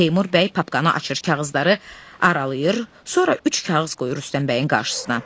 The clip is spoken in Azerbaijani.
Teymur bəy papkanı açır, kağızları aralayır, sonra üç kağız qoyur Rüstəm bəyin qarşısına.